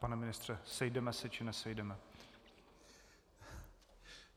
Pane ministře, sejdeme se, či nesejdeme?